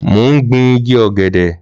Mò ń gbin igi ògèdè-agbàgbà